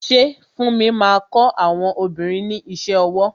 Ṣé funmi máa kọ àwọn obìnrin ní iṣẹ́ ọwọ?